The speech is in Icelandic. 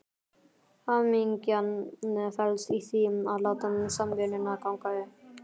Hamingjan felst í því að láta samvinnuna ganga upp.